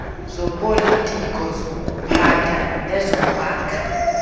zopolitiko zokuphatha nezokwakha